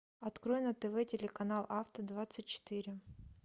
открой на тв телеканал авто двадцать четыре